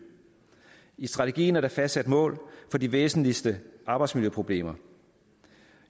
i strategien er der fastsat mål for de væsentligste arbejdsmiljøproblemer